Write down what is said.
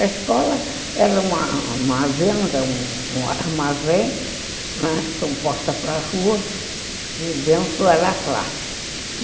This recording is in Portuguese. A escola era uma uma venda, um um armazém, não é? com porta para a rua, e dentro era a classe.